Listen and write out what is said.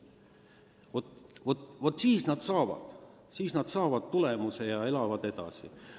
Vaat nii saavutatakse tulemus ja elatakse edasi.